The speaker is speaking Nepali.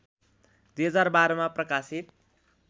२०१२ मा प्रकाशित